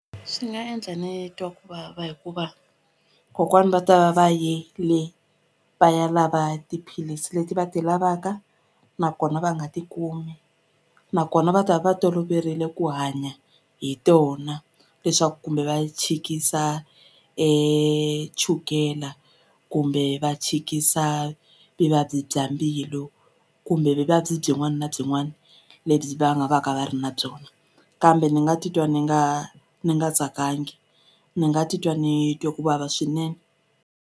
Swi nga endla ni twa ku vava hikuva kokwani va ta va va yini va ya lava tiphilisi leti va ti lavaka nakona va nga ti kumi nakona va ta va va toloverile ku hanya hi tona leswaku kumbe va chikisa chukela kumbe va chikisa vuvabyi bya mbilu kumbe vuvabyi byin'wani na byin'wani lebyi va nga va ka va ri na byona kambe ni nga titwa ni nga ni nga tsakangi ni nga titwa ni twe ku vava swinene.